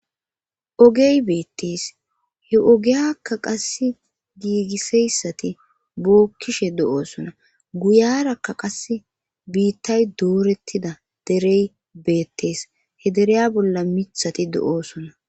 ogey beettis he ogeyakka qass giigiseyssati bookkishe do7oosona guyarakka qass biittay doorettida derey beettees he dereya bolla mithati do7oosona